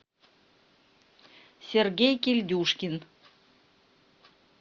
сергей кильдюшкин